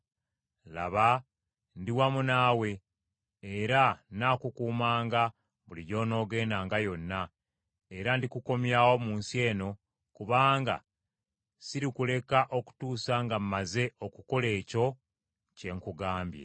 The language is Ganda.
Laba ndi wamu naawe, era nnaakukuumanga buli gy’onoogendanga yonna, era ndikukomyawo mu nsi eno, kubanga sirikuleka okutuusa nga mmaze okukola ekyo kye nkugambye.”